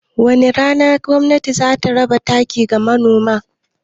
Wani rana gwamnatin za ta raba takin ga Manoma?